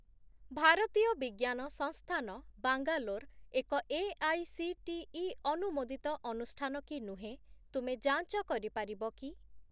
ଭାରତୀୟ ବିଜ୍ଞାନ ସଂସ୍ଥାନ ବାଙ୍ଗାଲୋର ଏକ ଏଆଇସିଟିଇ ଅନୁମୋଦିତ ଅନୁଷ୍ଠାନ କି ନୁହେଁ ତୁମେ ଯାଞ୍ଚ କରିପାରିବ କି?